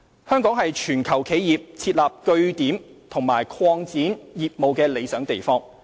香港是全球企業設立據點和擴展業務的理想地方。